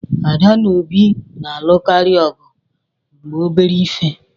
Ada na Obi na-alụkarị ọgụ maka obere ihe